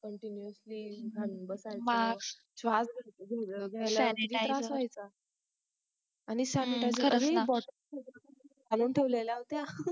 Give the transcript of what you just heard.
continously घालून बसायचं MASK श्वास घ्यायला किती त्रास व्हायचा आणि SANITIZER BOTTLE आणून ठेवलेल्या होत्या